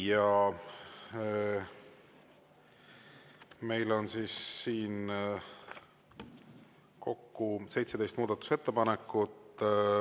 Meil on kokku 17 muudatusettepanekut.